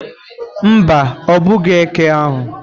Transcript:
Mba, ogbughị eke ahụ.